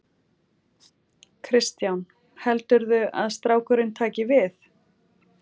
Kristján: Heldurðu að strákurinn taki við?